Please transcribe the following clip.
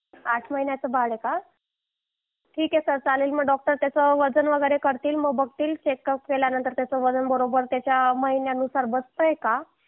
आठ महिन्याचा बाळ आहे का ठीक आहे सर चालेल मग डॉक्टर त्याचं वजन वगैरे करतील मग बघतील चेकअप केल्यावर त्याचं वजन बरोबर त्याच्या महिन्यानुसार बसतय का